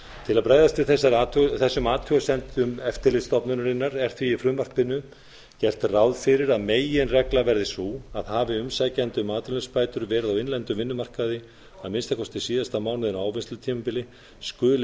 til að bregðast við þessum athugasemdum eftirlitsstofnunarinnar er því í frumvarpinu gert ráð fyrir að meginreglan verði sú að hafi umsækjandi um atvinnuleysisbætur verið á innlendum vinnumarkaði að minnsta kosti síðasta mánuðinn af ávinnslutímabili skuli